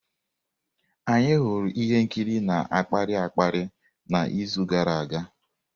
Anyị hụrụ ihe nkiri na-akpali akpali n'izu gara aga.